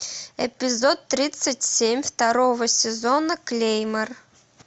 эпизод тридцать семь второго сезона клеймор